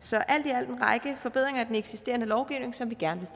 så alt i alt en række forbedringer af den eksisterende lovgivning som vi gerne